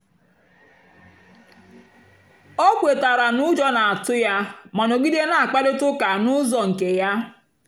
o kwètàra na ụ́jọ́ na-àtụ́ ya mà nọ̀gìdè na-àkpárị̀ta ụ́ka n'ụ́zọ́ nkè ya.